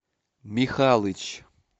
михалыч